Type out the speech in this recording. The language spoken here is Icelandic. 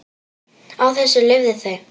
Á þessu lifðu þau.